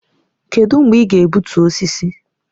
Kedụ mgbe ị ga-egbutu osisi?